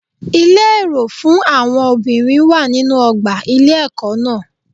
Ilé èrò fún àwọn obìnrin wà nínú ọgbà ilé ẹkọ náà.